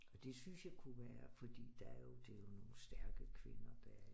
Og det synes jeg kunne være fordi der er jo det er jo nogle stærke kvinder der er